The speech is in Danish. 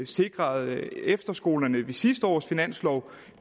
sikrede efterskolerne ved sidste års finanslov